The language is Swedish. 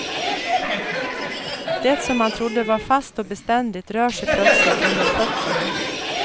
Det som man trodde var fast och beständigt rör sig plötsligt under fötterna.